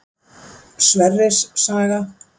Sverris saga.